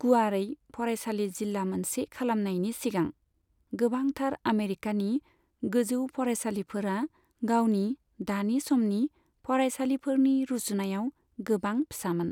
गुवारै फरायसालि जिल्ला मोनसे खालामनायनि सिगां, गोबांथार आमेरिकानि गोजौ फरायसालिफोरा गावनि दानि समनि फरायसालिफोरनि रुजुनायाव गोबां फिसामोन।